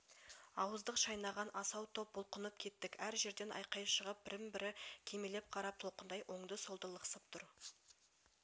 ауыздық шайнаған асау топ бұлқынып кеттік әр жерден айқай шығып бірін-бірі кимелеп қара толқындай оңды-солды лықсып тұр